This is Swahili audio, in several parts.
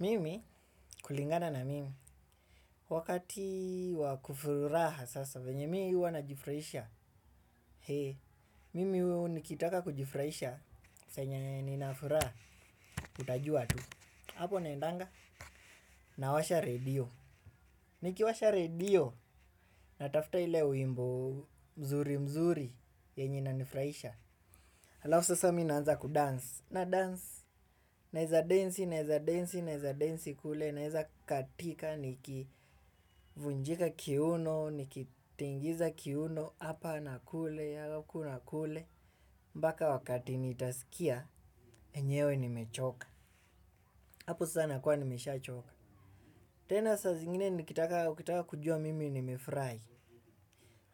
Mimi kulingana na mimi wakati wa kufuraha sasa venye mii huwa najifurahisha. Mimi nikitaka kujifuraisha senye nina furaha utajua tu. Apo naendanga nawasha redio. Nikiwasha redio natafuta ile wimbo mzuri mzuri yenye inanifuraisha. Alafu sasa mi naanza kudance nadance. Naeza densi kule naeza katika, nikivunjika kiuno, nikitingiza kiuno, hapa nakule, haku na kule. Mpaka wakati nitaskia, enyewe nimechoka. Hapo sasa nakuwa nimeshachoka. Tena saa zingine nikitaka kujua mimi nimefurai.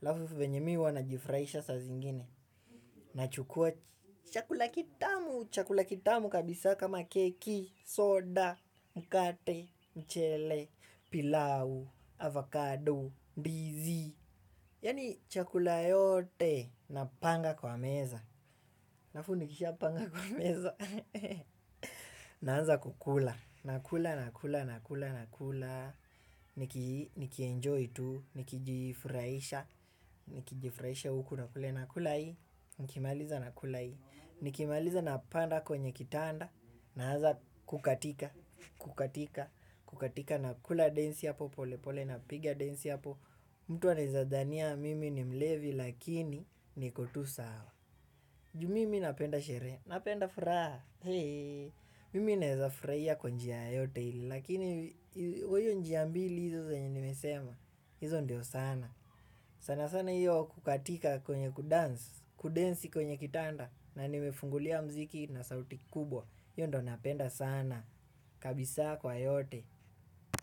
Alafu venye mi huwa najifuraisha saa zingine. Nachukuwa chakula kitamu, chakula kitamu kabisa kama keki, soda, mkate. Mchele, pilau, avakado, ndizi, yani chakula yote, napanga kwa meza. Alafu nikishapanga kwa meza. Naanza kukula, nakula, nakula, nakula, nakula, nikijifuraisha uku na kule, nakula hii, nikimaliza nakula hii, nikimaliza napanda kwenye kitanda, naanza kukatika nakula densi hapo pole pole napiga densi hapo. Mtu anaeza dhania mimi ni mlevi lakini niko tu sawa. Ju mimi napenda sherehe, napenda furaha, mimi naeza furaia kwa njia yote ile lakini kwa hio njia mbili hizo zenye nimesema. Hizo ndio sana. Sana sana hiyo kukatika kwenye kudensi kwenye kitanda. Na nimefungulia mziki na sauti kubwa hio ndio napenda sana. Kabisa kwa yote.